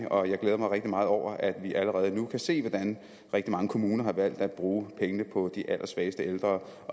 og jeg glæder mig rigtig meget over at vi allerede nu kan se hvordan rigtig mange kommuner har valgt at bruge pengene på de allersvageste ældre